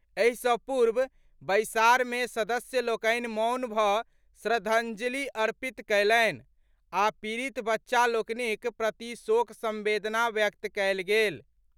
एहि सॅ पूर्व बैसार मे सदस्य लोकनि मौन भऽ श्रद्धाजंलि अर्पित कयलनि आ पीड़ित बच्चा लोकनिक प्रति शोक संवेदना व्यक्त कयल गेल।